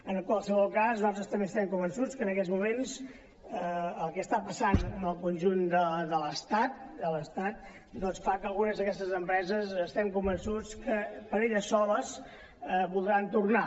en qualsevol cas nosaltres també estem convençuts que en aquests moments el que està passant en el conjunt de l’estat doncs fa que algunes d’aquestes empreses estem convençuts que per elles soles voldran tornar